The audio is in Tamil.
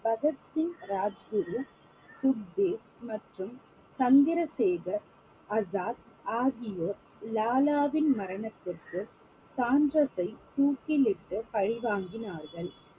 பகத்சிங் ராஜ்குரு துக்தேவ் மற்றும் சந்திரசேகர் அசாத் ஆகியோர் லாலாவின் மரணத்திற்கு சாண்டர்ஸை தூக்கிலிட்டு பழி வாங்கினார்கள்